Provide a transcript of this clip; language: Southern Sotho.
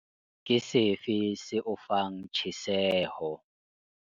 Ke sefe se o fang tjheseho?